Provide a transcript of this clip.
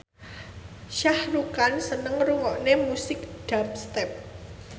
Shah Rukh Khan seneng ngrungokne musik dubstep